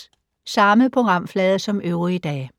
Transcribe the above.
Samme programflade som øvrige dage